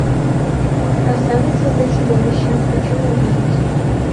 красавица для чудовища хочу увидеть